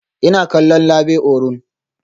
Ina kallon Labe Orun